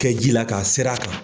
Kɛ ji la k'a ser'a kan.